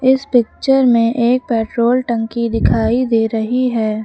इस पिक्चर में एक पेट्रोल टंकी दिखाई दे रही है।